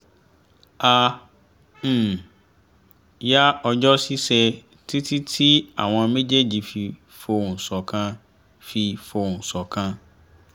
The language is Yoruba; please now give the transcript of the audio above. a um yá ọjọ́ ṣíṣe títí tí àwọn mejeeji fi fohùn ṣọ̀kan fi fohùn ṣọ̀kan